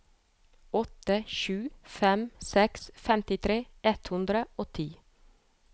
åtte sju fem seks femtitre ett hundre og ti